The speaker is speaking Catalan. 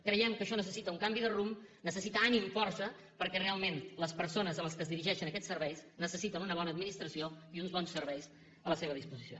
creiem que això necessita un canvi de rumb necessita ànim força perquè realment les persones a les quals es dirigeixen aquests serveis necessiten una bona administració i uns bons serveis a la seva disposició